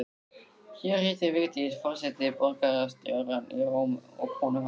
Hér hittir Vigdís forseti borgarstjórann í Róm og konu hans